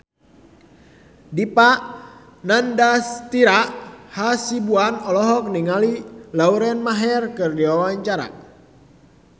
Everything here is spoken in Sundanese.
Dipa Nandastyra Hasibuan olohok ningali Lauren Maher keur diwawancara